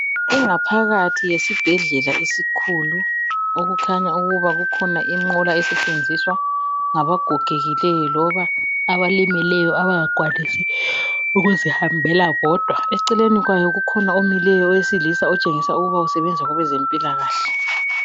Ingaphakathi yesibhedlela esikhulu okukhanya ukuba kukhona inqola esetshenziswa ngaba gogekileyo loba abalimeleyo abangakwanisi ukuzihambela bodwa, eceleni kwayo kukhona omileyo owesilisa otshengisa ukuba usebenza kwezempilakahle.